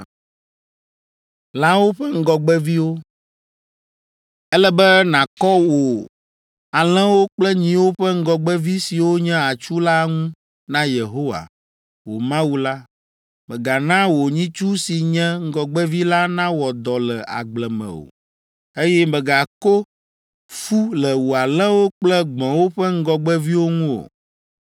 “Ele be nàkɔ wò alẽwo kple nyiwo ƒe ŋgɔgbevi siwo nye atsu la ŋu na Yehowa, wò Mawu la. Mègana wò nyitsu si nye ŋgɔgbevi la nawɔ dɔ le agble me o, eye mègako fu le wò alẽwo kple gbɔ̃wo ƒe ŋgɔgbeviwo ŋu o.